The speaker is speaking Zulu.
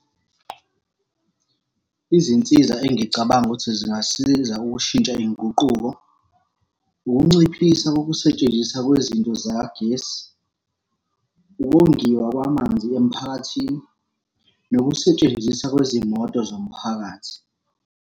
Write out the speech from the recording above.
Izinsiza engicabanga ukuthi zingasiza ukushintsha iy'nguquko, ukunciphisa kokusetshenziswa kwezinto zakagesi, ukongiwa kwamanzi emphakathini, nokusetshenziswa kwezimoto zomphakathi.